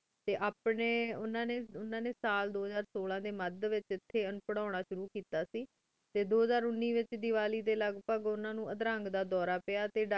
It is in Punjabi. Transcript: ਟੀ ਅਪਨੀ ਉਨਾ ਨਯਨ ਦੋ ਹਾਜਾਏ ਸੋਲਾਂ ਡੀ ਮਦ ਵੇਚ ਟੀ ਪੇਰ੍ਹੁਨਾ ਸ਼ੁਰੂ ਕੀਤਾ ਸੇ ਟੀ ਦੋ ਹਜ਼ਾਰ ਉਨੀ ਵੇਚ ਲਗ੍ਪਾਘ ਉਨਾ ਉਨੂ ਦਿਲ ਦਾ ਡੋਰ ਪਿਯਾ ਟੀ ਡਾਕਟਰੀ ਇਲਾਜ ਲੈ ਜਾਣਾ ਵੇ ਪੇਯ ਉਨਾ ਉਨ